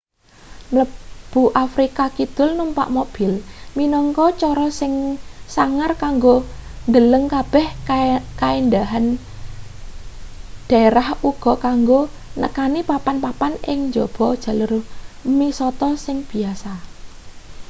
mlebu afrika kidul numpak mobil minangka cara sing sangar kanggo ndeleng kabeh kaendahan derah uga kanggo nekani papan-papan ing njaba jalur misata sing biyasa